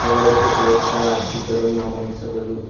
ಹಾಗೂ electric light ಸಹ ಹಾಕಿದ್ದರು ನಾವು ಗಮನಿಸಬಹುದು.